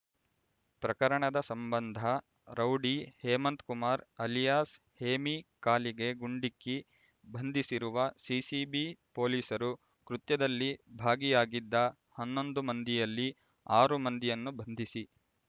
ಪ್ರಕರಣದ ಸಂಬಂಧ rowdy Hemanth Kumar alias Hemi ಕಾಲಿಗೆ ಗುಂಡಿಕ್ಕಿ ಬಂಧಿಸಿರುವ ಸಿಸಿಬಿ ಪೊಲೀಸರು ಕೃತ್ಯದಲ್ಲಿ ಭಾಗಿಯಾಗಿದ್ದ ಹನ್ನೊಂದು ಮಂದಿಯಲ್ಲಿ ಆರು ಮಂದಿಯನ್ನು ಬಂಧಿಸಿ